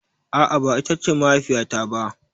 A'a ba ita ce mahaifiya ta ba.